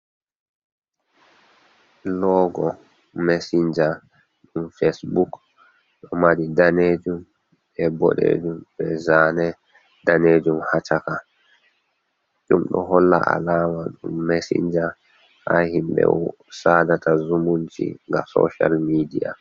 Logo messinja, ɗum fesbuk ɗo mari danejum e boɗejum be zane danejum hacaka, ɗum ɗo holla alama ɗum mesinja ha himɓe sadata zumunci nga soshal midiya.